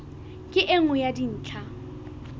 ke e nngwe ya dintlha